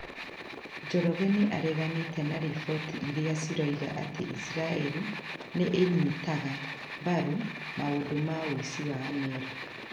Njoroge nĩ areganĩte na riboti iria cirauga atĩ Isiraeli nĩ ĩnyitaga mbaru maũndũ ma ũici wa Amerika.